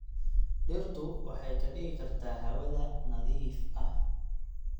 Dhirtu waxay ka dhigi kartaa hawada nadiif ah.